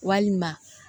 Walima